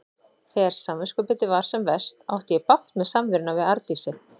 Þegar samviskubitið var sem verst átti ég bágt með samveruna við Arndísi.